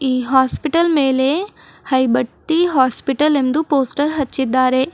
ಈ ಹಾಸ್ಪಿಟಲ್ ಮೇಲೆ ಹೈಬತ್ತಿ ಹಾಸ್ಪಿಟಲ್ ಎಂದು ಪೋಸ್ಟರ್ ಹಚ್ಚಿದ್ದಾರೆ.